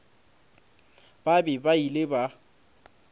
ba be ba ile ba